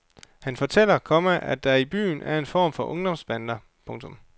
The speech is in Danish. Han fortæller, komma at der i byen er en form for ungdomsbander. punktum